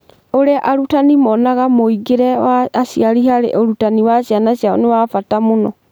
Ũrĩa arutani monaga mũingĩre wa aciari harĩ ũrutani wa ciana ciao nĩ wa bata mũno